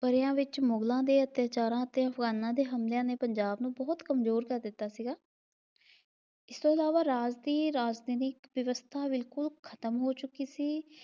ਵਰ੍ਹਿਆਂ ਵਿਚ ਮੁਗ਼ਲਾਂ ਦੇ ਅਤਿਆਚਾਰਾਂ ਤੇ ਅਫ਼ਗ਼ਾਨਾ ਦੇ ਹਮਲਿਆਂ ਨੇ ਪੰਜਾਬ ਨੂੰ ਬਹੁਤ ਕਮਜ਼ੋਰ ਕਰ ਦਿੱਤਾ ਸੀਗਾ। ਇਸਤੋਂ ਇਲਾਵਾ ਰਾਜ ਦੀ ਰਾਜਤੈਨਿਕ ਵਿਵਸਥਾ ਬਿਲਕੁਲ ਖਤਮ ਹੋ ਚੁੱਕੀ ਸੀ।